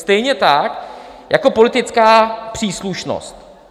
Stejně tak jako politická příslušnost.